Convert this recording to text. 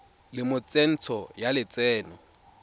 le mo tsentsho ya lotseno